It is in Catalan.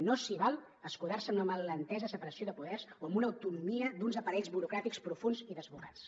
no s’hi val a escudar se en la mal entesa separació de poders o en una autonomia d’uns aparells burocràtics profunds i desbocats